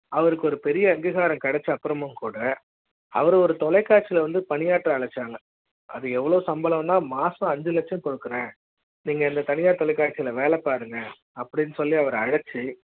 அவருக்கு ஒரு பெரிய அங்கீகார ம் கிடைச்சு அப்புற ம் கூட அவர் ஒரு தொலைக்காட்சி ல வந்து பணியாற்ற ச்சாங்க அது எவ்ளோ சம்பள ம் தான் மாசம் ஐந்து லட்சம் கொடுக்க றேன் நீங்க எந்த தனியார் தொலைக்காட்சி யில் வேலை பாருங்க அப்படி ன்னு சொல்லி அவரை அழைச்சு